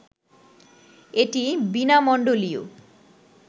এটি বীণামণ্ডলীয়